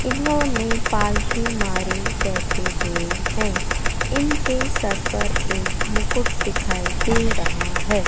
इन्होंने पालथी मारे बैठे हुए हैं इनके सर पर एक मुकुट दिखाई दे रहा है।